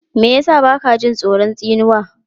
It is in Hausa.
Me ya sa ba ka jin tsoron tsinuwa?